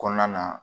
Kɔnɔna na